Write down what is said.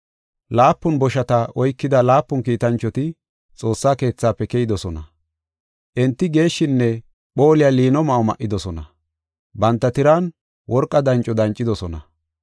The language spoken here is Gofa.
Laapun boshata oykida laapun kiitanchoti Xoossa keethafe keyidosona. Enti geeshshinne phooliya liino ma7o ma7idosona; banta tiran worqa danco dancidosona.